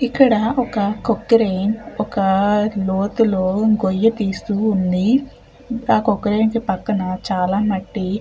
ఇక్కడ ఒక కొక్రైన్ ఒక లోతులో గొయ్య తెస్తూ ఉంది. ఆ కొక్రైన్ పక్కన చాల మట్టి --